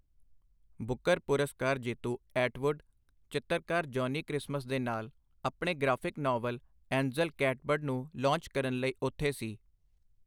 ਬੁੱਕਰ ਪੁਰਸਕਾਰ ਜੇਤੂ ਐਟਵੁੱਡ, ਚਿੱਤਰਕਾਰ ਜੌਨੀ ਕ੍ਰਿਸਮਸ ਦੇ ਨਾਲ ਆਪਣੇ ਗ੍ਰਾਫਿਕ ਨਾਵਲ ਐਂਜਲ ਕੈਟਬਰਡ ਨੂੰ ਲਾਂਚ ਕਰਨ ਲਈ ਉੱਥੇ ਸੀ।